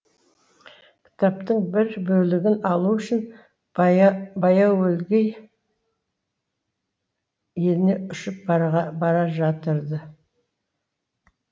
кітаптың бір бөлігін алу үшін баяуөлгей еліне ұшып баражатырды